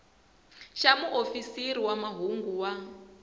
xa muofisiri wa mahungu wa